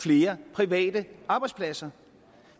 flere private arbejdspladser